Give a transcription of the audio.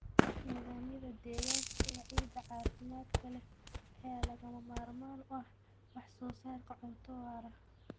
Nidaamyada deegaanka ee ciidda caafimaadka leh ayaa lagama maarmaan u ah wax soo saarka cunto waara.